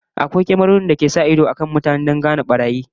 Akwai kyamarori da ke sa ido kan mutane domin gano barayi da masu son yin laifi